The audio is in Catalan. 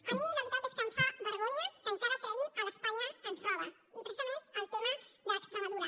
a mi la veritat és que em fa vergonya que encara treguin l’ espanya ens roba i precisament el tema d’extremadura